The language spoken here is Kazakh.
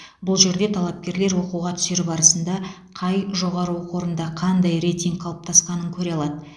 бұл жерде талапкерлер оқуға түсер барысында қай жоғары оқу орында қандай рейтинг қалыптасқанын көре алады